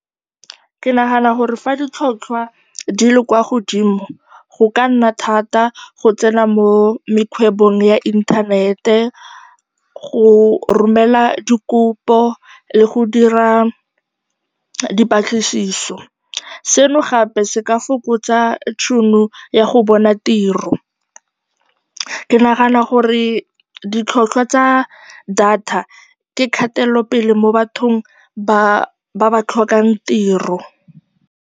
Ke nagana gore fa ditlhotlhwa di le kwa godimo go ka nna thata go tsena mo mekgwebong ya inthanete, go romela dikopo le go dira dipatlisiso. Seno gape se ka fokotsa tšhono ya go bona tiro. Ke nagana gore ditlhwatlhwa tsa data ke kgatelopele mo bathong ba ba tlhokang tiro.